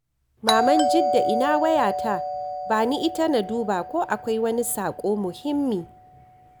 Maman Jidda ina wayata? Ba ni ita na duba ko akwai wani saƙo muhimmi.